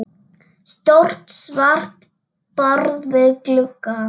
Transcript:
Stórt svart borð við glugga.